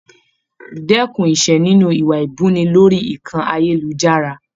Dẹkùn Ise nínú iwa ibuni lórí ìkànnì ayelujara.